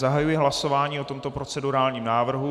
Zahajuji hlasování o tomto procedurálním návrhu.